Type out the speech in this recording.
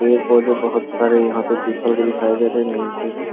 पेड़-पौधे बहोत सारे यहाँ पे पीपल के दिखाई दे रहे हैं नीम के भी ।